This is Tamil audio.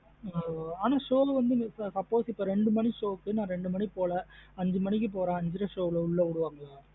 நா show வந்து suppose இப்ப ரெண்டு மணி show க்கு ரெண்டு மணிக்கு போல இந்து மணிக்கு போறேன் ஐந்து அரை show லா உள்ள விடுவங்காளா.